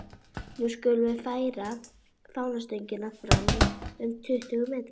Nú skulum við færa fánastöngina fram um tuttugu metra.